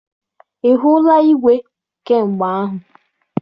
Ị hụla igwe kamgbe ahụ?